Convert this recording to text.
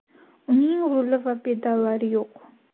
Uning ruli va pedallari yo‘q.